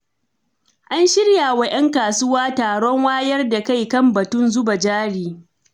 An shirya wa 'yan kasuwa taron wayar da kai kan batun zuba jari.